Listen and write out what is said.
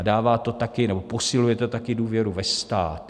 A dává to také nebo posiluje to také důvěru ve stát.